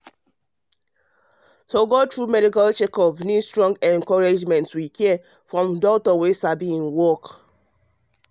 to go through medical checkup need strong encouragement with care from doctor wey sabi im wey sabi im work